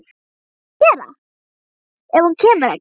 Hvað á hann að gera ef hún kemur ekki?